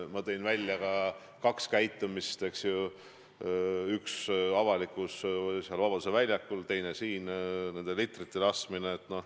Ma tõin ka välja kaks käitumist: üks avalikus kohas Vabaduse väljakul, teine siin saalis nende litrite laskmine.